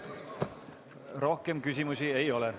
Rohkem küsimusi ei ole.